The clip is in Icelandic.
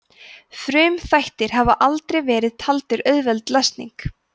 frumþættir hafa aldrei verið taldir auðveld lesning